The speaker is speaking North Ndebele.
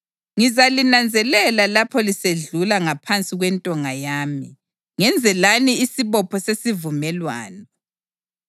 Ngizalinanzelela lapho lisedlula ngaphansi kwentonga yami, ngenze lani isibopho sesivumelwano.